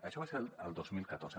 això va ser el dos mil catorze